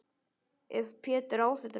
Ef Pétur á þetta nú.